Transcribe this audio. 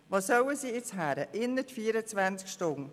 Wo sollen sie hin, innert 24 Stunden?